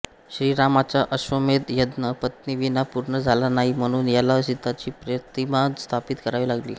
श्रीरामाचा अश्वमेध यज्ञ पत्नीविना पूर्ण झाला नाही म्हणून त्याला सीताची प्रतिमा स्थापित करावी लागली